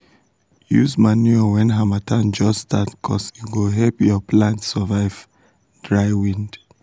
use manure when harmattan just startcuz e go help ya plants survive um dry wind.